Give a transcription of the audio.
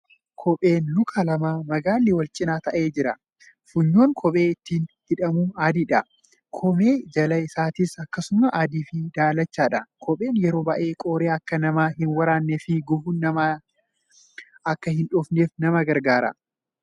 Kopheen luka lamaa magaalli wal cinaa taa'ee jira. Funyoon kopheen ittiin hidhamu adiidha. Koomee jalli isaatis akkasuma adii fi daalachadha. Kopheen yeroo baay'ee qoree akka nama hin waraannee fi gufuun nama hin dhoofnef nama gargaaraa.